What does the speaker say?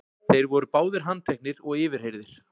Þeir voru báðir handteknir og yfirheyrðir